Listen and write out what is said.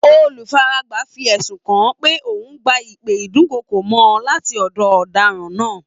Olufaragba fi ẹ̀sùn kan pé òun ń gba ìpè ìdúnkookò-mọ́ láti ọ̀dọ̀ ọ̀daràn náà